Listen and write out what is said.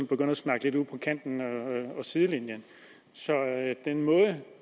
begynde at snakke lidt ud på kanten og sidelinjen så den måde